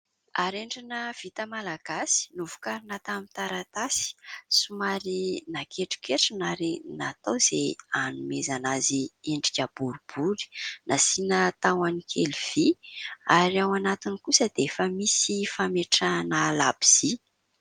Harendrina vita malagasy novokarina tamin'ny taratasy somary naketroketrona ary natao izay hanomezana azy endrika boribory ; nasiana tahon'ny kely vy ary ao anatiny kosa dia efa misy fametrahana labozy.